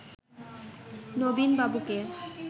নবীন বাবুকে